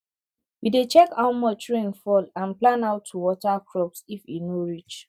we dey check how much rain fall and plan how to water crops if e no reach